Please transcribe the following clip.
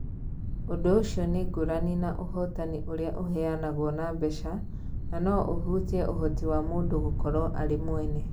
Ũndũ ũcio nĩ ngũrani na ũhotani ũrĩa ũheanagwo na mbeca na no ũhutie ũhoti wa mũndũ gũkorũo arĩ mwene.